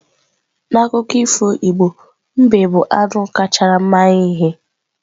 N'akụkọ ifo Igbo, mbe bụ anụ kacha mara ihe.